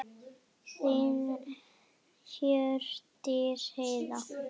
Þín Hjördís Heiða.